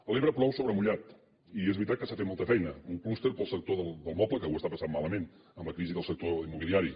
a l’ebre plou sobre mullat i és veritat que s’ha fet molta feina un clúster per al sector del moble que ho està passant malament amb la crisi del sector immobiliari